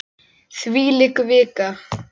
Þvílík vika!